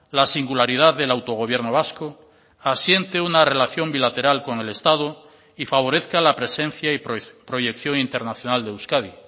la singularidad del autogobierno vasco asiente una relación bilateral con el estado y favorezca la presencia y proyección internacional de euskadi